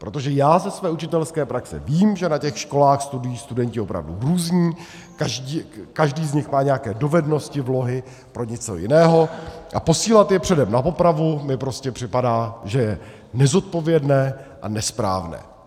Protože já ze své učitelské praxe vím, že na těch školách studují studenti opravdu různí, každý z nich má nějaké dovednosti, vlohy pro něco jiného, a posílat je předem na popravu mi prostě připadá, že je nezodpovědné a nesprávné.